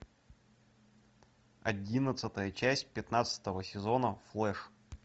одиннадцатая часть пятнадцатого сезона флэш